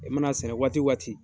E mana sɛnɛ waati waati